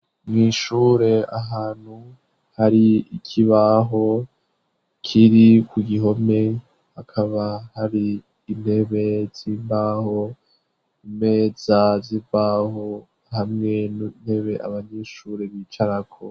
Mwishure ahantu hari ikibaho kiri kugihome akaba hari intebe z'imbaho, imeza zimbaho hamwe n'intebe abanyeshure bicarako.